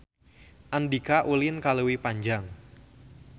Andika ulin ka Leuwi Panjang